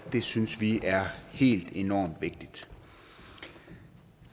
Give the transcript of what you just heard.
det synes vi er helt enormt vigtigt